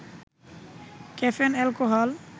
caffeine alcohol